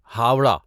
Howrah